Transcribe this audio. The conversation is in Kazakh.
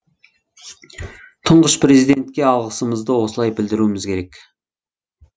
тұңғыш президентке алғысымызды осылай білдіруіміз керек